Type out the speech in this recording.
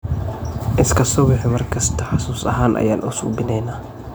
Iskasubix mar kista xasus ahan ayan uusubineynax.